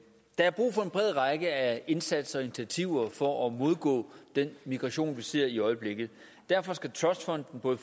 er brug for en bred række af indsatser og initiativer for at modgå den migration vi ser i øjeblikket derfor skal trustfonden både